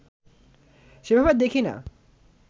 সেভাবে দেখি না